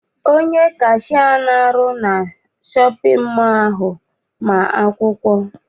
Onye kashia ahụ na-arụ na shọpịn mọọ ahụ ma akwụkwọ.